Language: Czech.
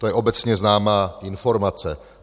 To je obecně známá informace.